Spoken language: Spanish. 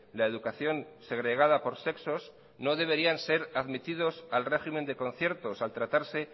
la educación segregada por sexos no deberían ser admitidos al régimen de conciertos al tratarse